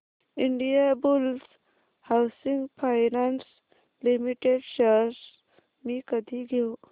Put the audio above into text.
Indiabulls housing finance limited shares मी कधी घेऊ